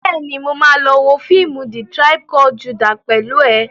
Bẹ́ẹ̀ni, mo ma lọ wo fíìmù "The tribe called Judah" pẹ̀lú ẹ̀